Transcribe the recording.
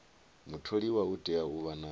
mutholiwa u tea u vha